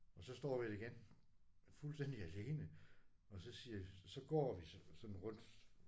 Og så står vi der igen fuldstændig alene og så siger så går vi sådan rundt